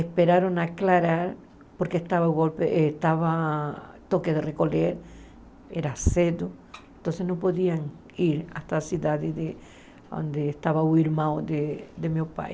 Esperaram aclarar, porque estava golpe estava toque de recolher, era cedo, então não podiam ir até a cidade de onde estava o irmão de de meu pai.